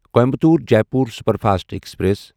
Coimbatore Jaipur superfast express